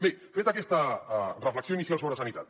bé feta aquesta reflexió inicial sobre sanitat